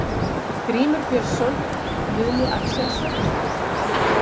Grímur Björnsson, Guðni Axelsson, Halldór